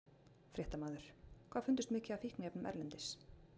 Fréttamaður: Hvað fundust mikið af fíkniefnum erlendis?